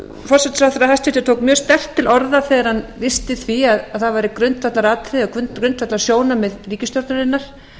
forsætisráðherra tók mjög sterkt til orða þegar hann lýsti því að það væri grundvallarsjónarmið ríkisstjórnarinnar